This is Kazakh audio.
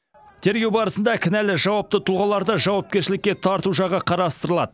тергеу барысында кінәлі жауапты тұлғаларды жауапкершілікке тарту жағы қарастырылады